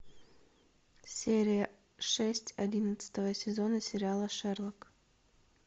серия шесть одиннадцатого сезона сериала шерлок